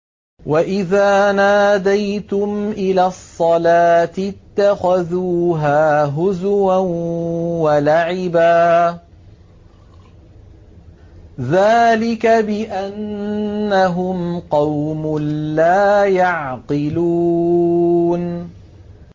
وَإِذَا نَادَيْتُمْ إِلَى الصَّلَاةِ اتَّخَذُوهَا هُزُوًا وَلَعِبًا ۚ ذَٰلِكَ بِأَنَّهُمْ قَوْمٌ لَّا يَعْقِلُونَ